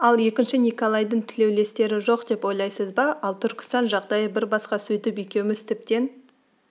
ал екінші николайдың тілеулестері жоқ деп ойлайсыз ба ал түркістан жағдайы бір басқа сөйтіп екеуміз тіптен